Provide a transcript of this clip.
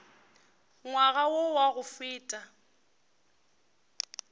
ngwaga wo wa go feta